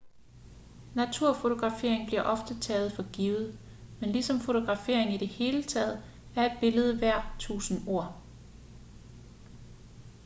naturfotografering bliver ofte taget for givet men ligesom fotografering i det hele taget er et billede værd tusinde ord